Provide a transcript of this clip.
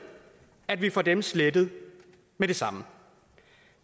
at vi får dem slettet med det samme